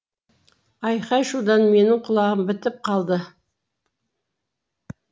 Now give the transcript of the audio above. айқай шудан менің құлағым бітіп қалды